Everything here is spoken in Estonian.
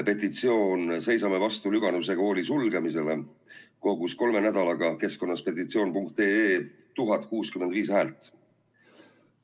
Petitsioon "Seisame vastu Lüganuse kooli sulgemisele" kogus kolme nädalaga keskkonnas petitsioon.ee 1065 häält.